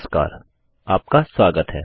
नमस्कार आपका स्वागत है